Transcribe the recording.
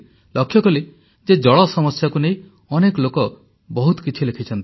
ଲକ୍ଷ୍ୟକଲି ଯେ ଜଳ ସମସ୍ୟାକୁ ନେଇ ଅନେକ ଲୋକ ବହୁତ କିଛି ଲେଖିଛନ୍ତି